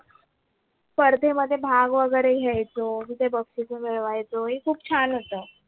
स्पर्धे मध्ये भाग वगरे घ्यायचो तिथे बक्षीस मिळवायचो हे खूप छान होत